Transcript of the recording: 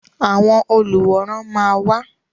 Àwọn olùwòran máa wá.